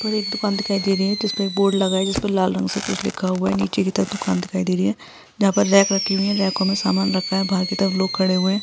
ऊपर एक दुकान दिखाई दे रही है जिसपे एक बोर्ड लगा है जिसपे लाल रंग से कुछ लिखा हुआ है नीचे की तरफ दुकान दिखाई दे रही है जहां पर रैक रखी हुई है रैकों में सामान रखा है बाहर की तरफ लोग खड़े हुए हैं।